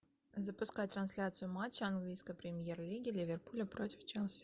запускай трансляцию матча английской премьер лиги ливерпуля против челси